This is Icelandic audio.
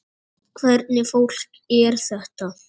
Hvernig fólk er þetta?